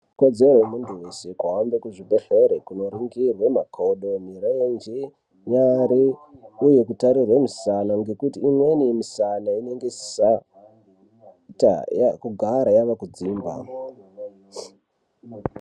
Ikodzero yemuntu weshe kuhambe kuzvibhedhlere kunoringirwe makodo, mirenje ,nyara uye kutarirwe misana nekuti imweni misana inenge isisaita kugara yaakudzimba.